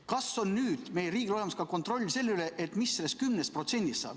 Kas on meie riigil olemas ka kontroll selle üle, mis sellest 10%-st saab?